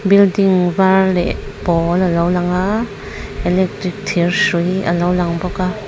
building var leh pawl alo lang a electric thir hrui alo lang bawka--